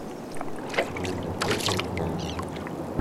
джейсон стэтхэм механик